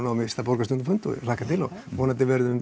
á næsta borgarstjórnarfund og hlakka til vonandi verðum